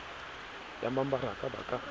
ya mebaraka ba ka a